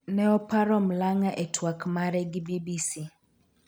ne oparo Mlang'a e twak mare gi BBC